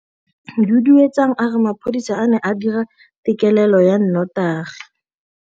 Duduetsang a re mapodisa a ne a dira têkêlêlô ya nnotagi.